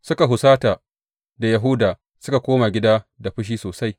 Suka husata da Yahuda suka koma gida da fushi sosai.